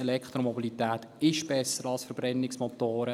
Elektromobilität ist besser als Verbrennungsmotoren.